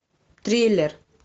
триллер